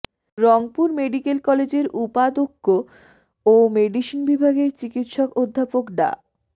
Rangpur medical কলেজের উপাধ্যক্ষ ও মেডিসিন বিভাগের চিকিৎসক অধ্যাপক ডা